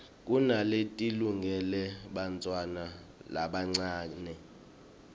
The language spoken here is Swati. kunaletilungele bantfwana labancane